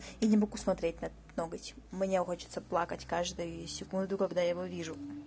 я не могу смотреть на этот ноготь мне хочется плакать каждую секунду когда я его вижу